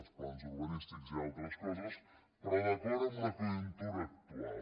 els plans urbanístics i altres coses però d’acord amb la conjuntura actual